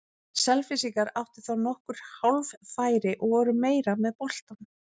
Selfyssingar áttu þá nokkur hálffæri og voru meira með boltann.